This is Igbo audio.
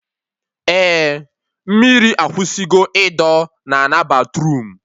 Eh, mmiri akwụsị go ịdọ na ana batruum